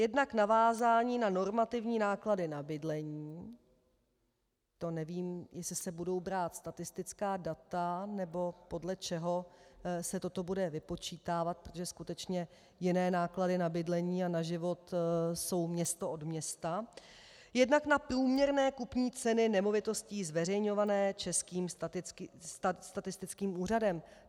Jednak navázání na normativní náklady na bydlení - to nevím, jestli se budou brát statistická data, nebo podle čeho se toto bude vypočítávat, protože skutečně jiné náklady na bydlení a na život jsou město od města -, jednak na průměrné kupní ceny nemovitostí zveřejňované Českým statistickým úřadem.